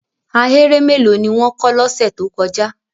Ahéré mélòó ni wọ́n wó lọ́sẹ̀ tó kọjá?